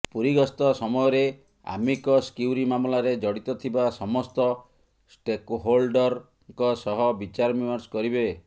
ପୁରୀ ଗସ୍ତ ସମୟରେ amicus curiae ମାମଲାରେ ଜଡ଼ିତ ଥିବା ସମସ୍ତ ଷ୍ଟେକ୍ହୋଲ୍ଡରଙ୍କ ସହ ବିଚାରବିମର୍ଶ କରିବେ